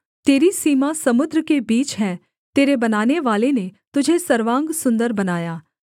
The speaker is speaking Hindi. तेरी सीमा समुद्र के बीच हैं तेरे बनानेवाले ने तुझे सर्वांग सुन्दर बनाया